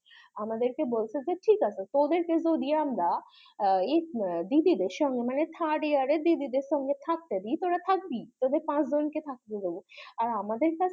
আমাদের কে বলছে যে ঠিক আছে তোদের কে যদি আমরা দিদিদের সঙ্গে মানে third year এর দিদিদের সঙ্গে থাকতে দি তোরা থাকবি তোদের পাঁচজন কে থাকতে দেব আর আমাদের কাছে